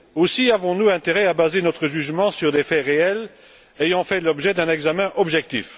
Aussi, avons nous intérêt à baser notre jugement sur des faits réels ayant fait l'objet d'un examen objectif.